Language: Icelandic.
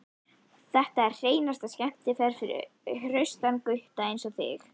Þetta er hreinasta skemmtiferð fyrir hraustan gutta einsog þig.